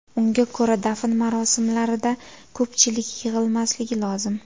Unga ko‘ra dafn marosimlarida ko‘pchilik yig‘ilmasligi lozim.